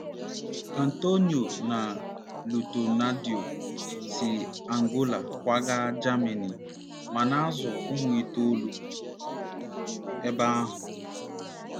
Antonio na Lutonadio si Angola kwaga Jamanị ma na-azụ ụmụ itoolu n'ebe ahụ.